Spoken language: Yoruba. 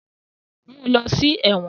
Mú ló sí èwòn.